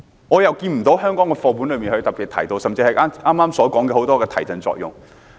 我看不到香港的課本中特別提到這點，甚至剛才所說的眾多提振作用。